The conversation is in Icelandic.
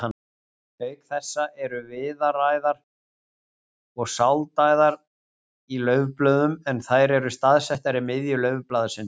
Auk þessa eru viðaræðar og sáldæðar í laufblöðum en þær eru staðsettar í miðju laufblaðsins.